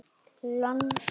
Lánsöm vorum við.